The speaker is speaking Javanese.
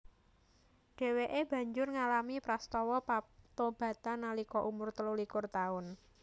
Dhèwèké banjur ngalami prastawa patobatan nalika umur telulikur taun